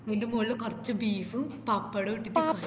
അതിൻ്റെ മോളില് കൊർച് beef ഉം പപ്പടോം ഇട്ടിട്ട്